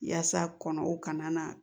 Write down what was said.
Yaasa kɔnɔw kana na